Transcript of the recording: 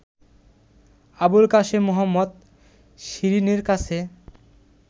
আবুল কাসেম মোহাম্মদ শিরীনের কাছে